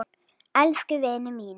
Elsku vinur minn.